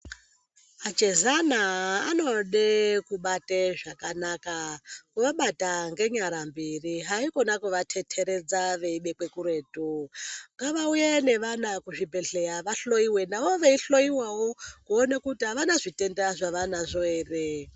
Achezana anode kubate zvakanaka kuvabata ngenyara mbiri haikona kuvateteredza veibekwe kuretu ngavauye nevana kuzvibhedhleya vahloyiwe navo veihloyiwawo kuona kuti avana zvitenda zvavanazvo ere.